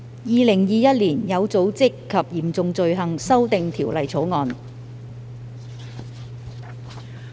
《2021年有組織及嚴重罪行條例草案》。